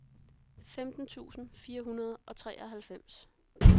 femten tusind fire hundrede og treoghalvfems